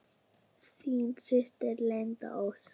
Þín systir, Linda Ósk.